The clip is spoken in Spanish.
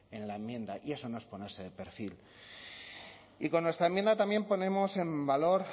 en la enmienda y eso no es ponerse de perfil y con nuestra enmienda también ponemos en valor